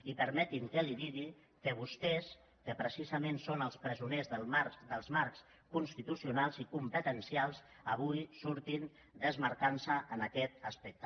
i permeti’m que li digui que vostès que precisament són els presoners dels marcs constitucionals i competencials avui surten desmarcant se’n en aquest aspecte